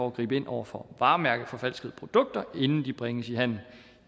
at gribe ind over for varemærkeforfalskede produkter inden de bringes i handel